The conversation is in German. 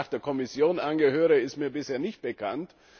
Dass ich danach der Kommission angehöre, ist mir bisher nicht bekannt.